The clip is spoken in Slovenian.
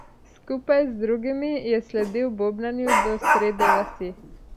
Skupaj z drugimi je sledil bobnanju do srede vasi.